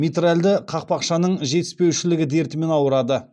митральді қақпақшаның жетіспеушілігі дертімен ауырады